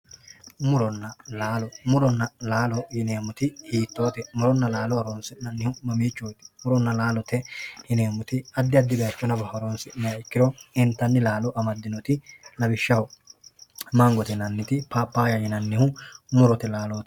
muronna laallo, muronna laalo yineemmoti hiittoote? muronna laalo horonsi'nannihu mamichooti? muronna laalote yineemmoti addi addire horonsi'nanniha ikkiro intanni laalo amaddinoti lawishshaho, mangote yinanniti paappayaho yinanniti murote laalooti.